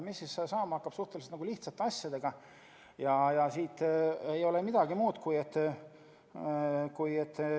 Mis hakkab saama suhteliselt lihtsate asjadega?